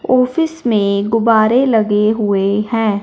Office में गुब्बारे लगे हुए हैं।